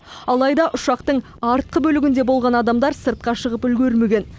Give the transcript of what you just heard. алайда ұшақтың артқы бөлігінде болған адамдар сыртқа шығып үлгермеген